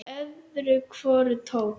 Öðru hvoru tók